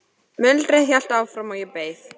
Muldrið hélt áfram og ég beið.